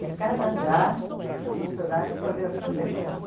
De cada andar, os funcionários faziam a sua decoração.